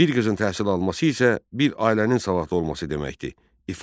Bir qızın təhsil alması isə bir ailənin savadlı olması deməkdir.